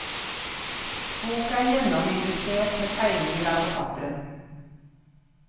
Boka er gjennomillustrert med tegninger av forfatteren.